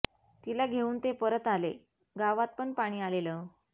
तिला घेवून ते परत आले गावात पण पाणी आलेलं